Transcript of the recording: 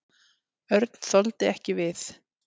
Örn þoldi ekki við.